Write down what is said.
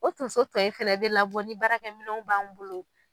O tonso tɔw in fɛnɛ bi labɔ ni baarakɛ minnɛw b'an bolo